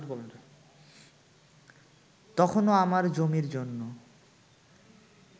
তখনো আমার জমির জন্য